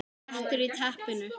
BLETTUR Í TEPPINU